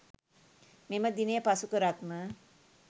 මෙම දිනය පසු කරත්ම